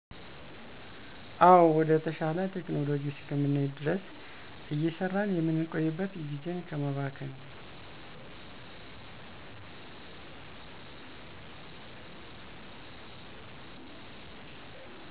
አዎ ወደ ተሻለ ቴክኖሎጂ እስከምንሄድ ድረስ እየሰራን የምንቆይበት ጊዜን ከማባከን